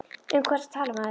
Um hvað ertu að tala maður?